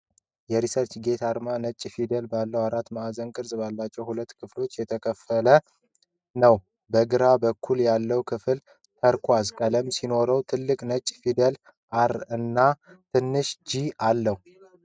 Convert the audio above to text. የ"ResearchGate" አርማ ነጭ ፊደላት ባሉት አራት ማዕዘን ቅርጽ ባላቸው ሁለት ክፍሎች የተከፈለ ነው። በግራ በኩል ያለው ክፍል ተርኳዝ ቀለም ሲሆን ትልቅ ነጭ ፊደል "R" እና ትንሽ "G" አለው።